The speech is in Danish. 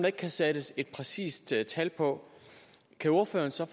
ikke kan sættes et præcist tal tal på kan ordføreren så